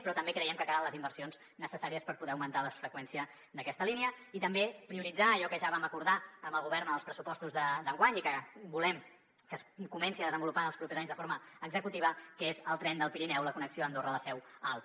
però també creiem que calen les inversions necessàries per poder augmentar la freqüència d’aquesta línia i també prioritzar allò que ja vam acordar amb el govern en els pressupostos d’enguany i que volem que es comenci a desenvolupar en els propers anys de forma executiva que és el tren del pirineu la connexió andorra la seu alp